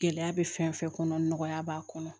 Gɛlɛya bɛ fɛn fɛn kɔnɔ nɔgɔya b'a kɔnɔ